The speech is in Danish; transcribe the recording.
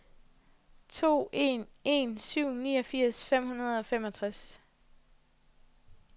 to en en syv niogfirs fem hundrede og femogtres